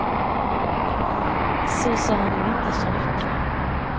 Så sa han ju inte så mycket.